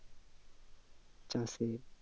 চাষে